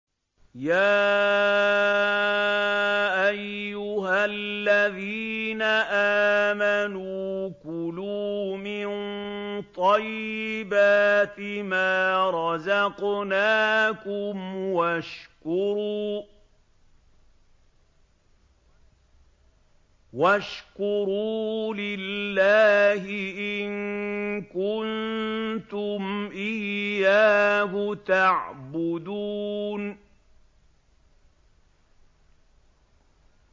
يَا أَيُّهَا الَّذِينَ آمَنُوا كُلُوا مِن طَيِّبَاتِ مَا رَزَقْنَاكُمْ وَاشْكُرُوا لِلَّهِ إِن كُنتُمْ إِيَّاهُ تَعْبُدُونَ